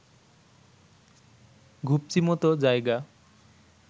ঘুপচিমতো জায়গা